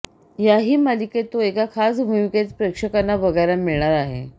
याही मालिकेत तो एका खास भूमिकेत प्रेक्षकांना बघायला मिळणार आहे